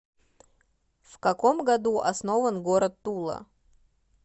в каком году основан город тула